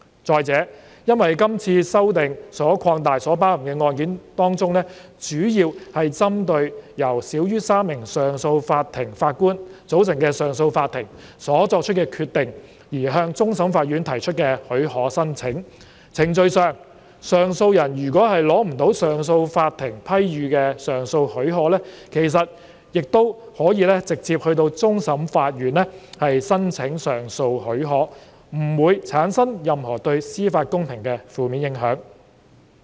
再者，因為這次修訂所擴及的案件當中，主要是針對由少於3名上訴法庭法官組成的上訴法庭所作出的決定而向終審法院提出的許可申請，在程序上，上訴人如果未能取得上訴法庭批予的上訴許可，其實亦可直接到終審法院申請上訴許可，不會對司法公平產生任何負面影響。